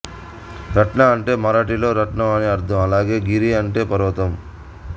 రత్న అంటే మరాఠీలో రత్నం అని అర్ధం అలాగే గిరి అంటే పర్వతం